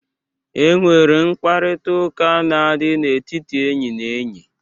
E nwere mkparịta ụka na-adị n'etiti enyi na enyi.